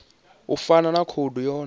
u fana na khoudu yone